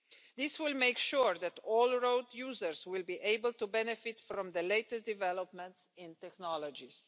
This will make sure that all road users will be able to benefit from the latest developments in technologies.